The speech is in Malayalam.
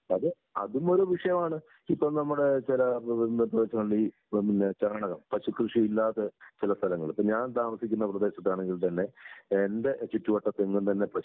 അതെ, അതും ഒരു വിഷയമാണ്. ഇപ്പ നമ്മുടെ ചില ചാണകം പശുകൃഷി ഇല്ലാതെ ചില സ്ഥലങ്ങള് ഇപ്പൊ ഞാൻ താമസിക്കുന്ന പ്രദേശത്താണെങ്കിൽ തന്നെ എന്റെ ചുറ്റുവട്ടത്തെങ്ങും തന്നെ പശു കൃ